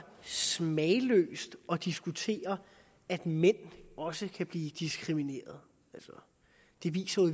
smagløst at diskutere at mænd også kan blive diskrimineret det viser